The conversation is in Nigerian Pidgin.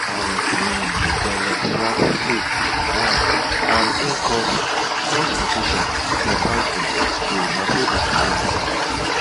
parrot wey dey jealous swap seeds once and e cause cause confusion for planting day na so de story be